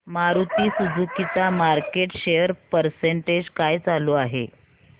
Maruti Suzuki चा market share percentage काय चालू आहे